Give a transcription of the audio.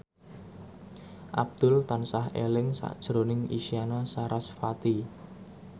Abdul tansah eling sakjroning Isyana Sarasvati